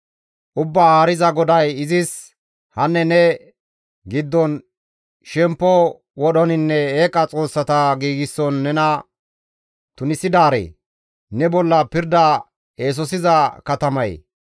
Ubbaa Haariza GODAY izis, ‹Hanne ne giddon shemppo wodhoninne eeqa xoossata giigson nena tunisidaaree! Ne bolla pirda eesosiza katamayee!